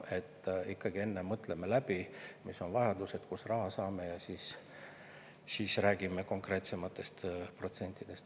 Ikkagi mõtleme enne läbi, mis on vajadused ja kust me raha saame, ning siis räägime konkreetsematest protsentidest.